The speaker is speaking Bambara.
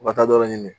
U ka taa yɔrɔ ɲini